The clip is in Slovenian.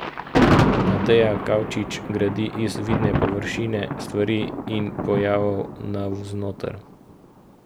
Mateja Kavčič gradi iz vidne površine stvari in pojavov navznoter.